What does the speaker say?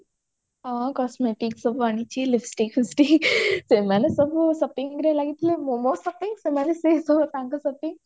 ହଁ cosmetic ସବୁ ଆଣିଛି lipstick ସେମାନେ ସବୁ shopping ରେ ଲାଗିଥିଲେ ମୁଁ ମୋ shopping ସେମାନେ ସେ ସବୁ ତାଙ୍କ shopping